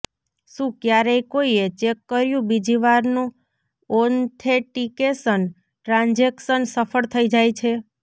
શું ક્યારેય કોઇએ ચેક કર્યું બીજી વારનું ઓથેંટિકેશન ટ્રાજેક્શન સફળ થઇ જાય છે